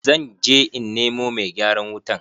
Zan je in nemo mai gyaran wutan.